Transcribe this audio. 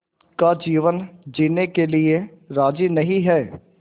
का जीवन जीने के लिए राज़ी नहीं हैं